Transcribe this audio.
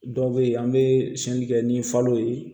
Dɔw bɛ yen an bɛ siyɛnni kɛ ni falo ye